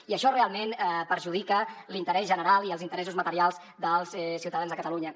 i això realment perjudica l’interès general i els interessos materials dels ciutadans de catalunya